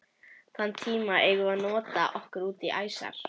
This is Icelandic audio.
Þann tíma eigum við að nota okkur útí æsar.